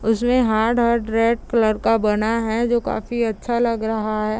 इसमें hard hard red colour का बना हैं जो काफी अच्छा लग रहा हैं।